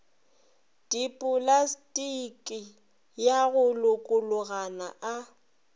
dipolastiki ya go lokologana a